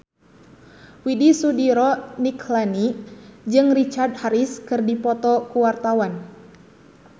Widy Soediro Nichlany jeung Richard Harris keur dipoto ku wartawan